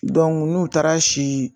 N'u taara si